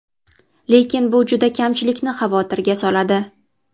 Lekin bu juda kamchilikni xavotirga soladi.